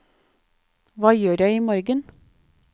hva gjør jeg imorgen